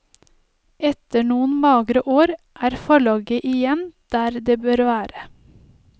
Etter noen magre år er forlaget igjen der det bør være.